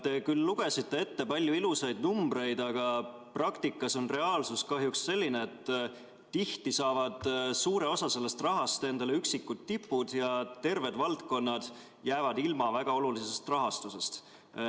Te küll lugesite ette palju ilusaid numbreid, aga reaalsus on kahjuks selline, et tihti saavad suure osa sellest rahast endale üksikud tipud ja terved valdkonnad jäävad ilma väga olulisest rahastusest.